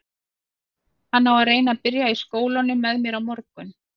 Hann á að reyna að byrja í skólanum með mér á morgun.